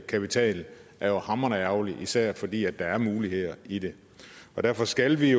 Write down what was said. kapital det er jo hamrende ærgerligt især fordi der er muligheder i det og derfor skal vi